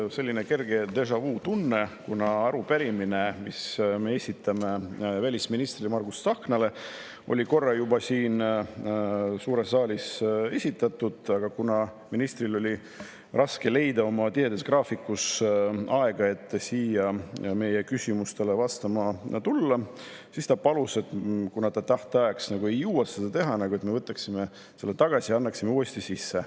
Mul on selline kerge déjà-vu-tunne, kuna arupärimine, mille me esitame välisminister Margus Tsahknale, oli korra juba siin suures saalis esitatud, aga kuna ministril oli raske oma tihedas graafikus leida aega, et siia meie küsimustele vastama tulla, siis ta palus, et kuna ta tähtajaks ei jõua seda teha, siis me võtaksime selle tagasi ja annaksime uuesti sisse.